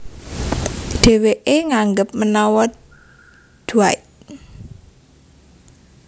Dhèwèké nganggep menawa Dwight